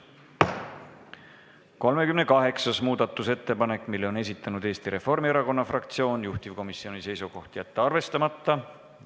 38. muudatusettepaneku on esitanud Eesti Reformierakonna fraktsioon, juhtivkomisjoni seisukoht: jätta see arvestamata.